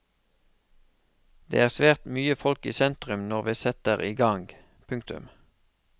Det er svært mye folk i sentrum når vi setter igang. punktum